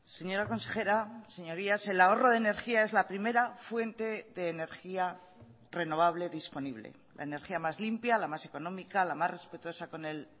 señora consejera señorías el ahorro de energía es la primera fuente de energía renovable disponible la energía más limpia la más económica la más respetuosa con el